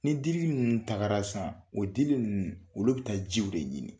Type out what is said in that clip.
Ni dili ninnu tagara san o dili ninnu olu bɛ taa jiw de ɲini.